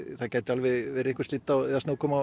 það gæti verið einhver